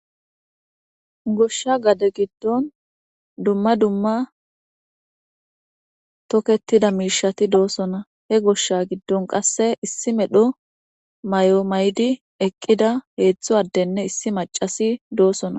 goshsha gade giddon dumma dumma toketida miishati doosona he goshsha giddon qasse issi medho may7o maydi eqqida heetztho addenne issi macasi doosona